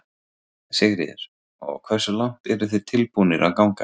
Sigríður: Og hversu langt eru þið tilbúnir að ganga?